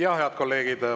Jaa, head kolleegid!